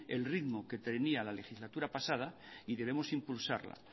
el ritmo que tenía la legislatura pasada y debemos impulsarla